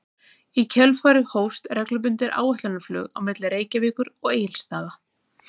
Í kjölfarið hófst reglubundið áætlunarflug á milli Reykjavíkur og Egilsstaða.